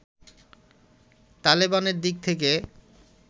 তালেবানের দিক থেকে